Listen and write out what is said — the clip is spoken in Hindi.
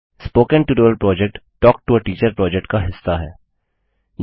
spoken tutorial project talk to a teacher project का हिस्सा है